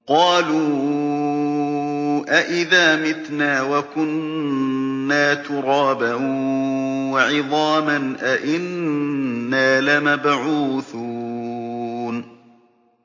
قَالُوا أَإِذَا مِتْنَا وَكُنَّا تُرَابًا وَعِظَامًا أَإِنَّا لَمَبْعُوثُونَ